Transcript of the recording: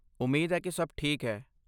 ਉਮੀਦ ਹੈ ਕਿ ਸਭ ਠੀਕ ਹੈ।